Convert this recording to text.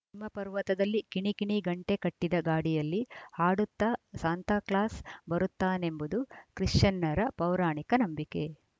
ಹಿಮ ಪರ್ವತದಲ್ಲಿ ಕಿಣಿಕಿಣಿ ಗಂಟೆ ಕಟ್ಟಿದ ಗಾಡಿಯಲ್ಲಿ ಹಾಡುತ್ತಾ ಸಾಂತಾಕ್ಲಾಸ್‌ ಬರುತ್ತಾನೆಂಬುದು ಕ್ರಿಶ್ಚಿಯನ್ನರ ಪೌರಾಣಿಕ ನಂಬಿಕೆ